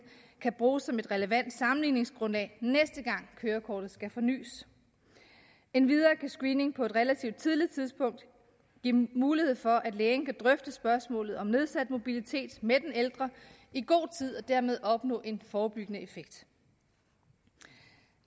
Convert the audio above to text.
kan bruges som et relevant sammenligningsgrundlag næste gang kørekortet skal fornys endvidere kan screening på et relativt tidligt tidspunkt give mulighed for at lægen kan drøfte spørgsmålet om nedsat mobilitet med den ældre i god tid og dermed opnå en forebyggende effekt